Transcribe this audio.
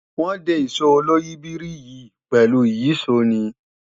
Wọ́n de Ìṣó oloyìibírí yìí pẹ̀lú ìyíṣòó ni